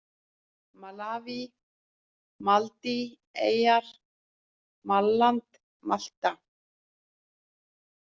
Malaví, Maldíveyjar, Malland, Malta